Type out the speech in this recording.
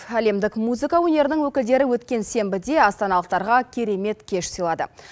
әлемдік музыка өнерінің өкілдері өткен сенбіде астаналықтарға керемет кеш сыйлады